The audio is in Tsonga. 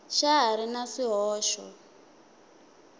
xa ha ri na swihoxo